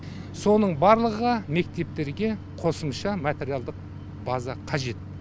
соның барлығы мектептерге қосымша материалдық база қажет